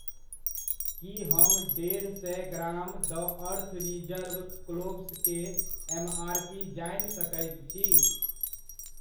की हम डेढ़ सए gram the Earth Reserve cloves के एमआरपी जानि सकैत छी ?